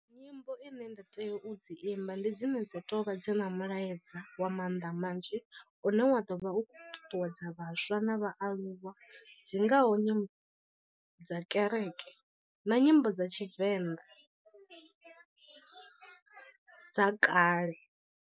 Nyimbo ine nda tea u dzi imba ndi dzine dza to vha dzi na mulaedza wa mannḓa manzhi, une wa ḓo vha u khou ṱuṱuwedza vhaswa na vhaaluwa dzi ngaho nyimbo dza kereke na nyimbo dza tshivenḓa dza kale.